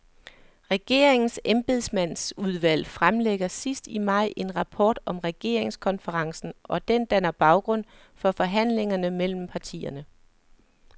Regeringens embedsmandsudvalg fremlægger sidst i maj en rapport om regeringskonferencen, og den danner baggrund for forhandlingerne mellem partierne.